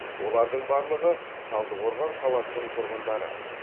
олардың барлығы талдықорған қаласының тұрғындары